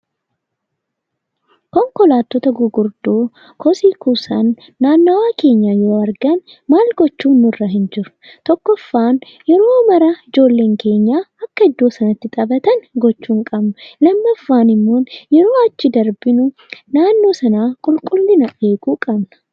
Konkolaattota gurguddoo kosii kuusan, naannawaa keenya yoo argan maal gochuun nurra hin jiru? Tokkoffaan yeroo mara ijoolleen keenya akka iddoo sanatti taphatan gochuu hin qabnu. Lammaffaan immoo yeroo achi darbinu naannoo sana qulqullina eeguu qabna.